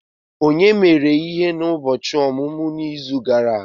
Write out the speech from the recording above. Onye mere ihe ụbọchị ọmụmụ n'izu gara aga!?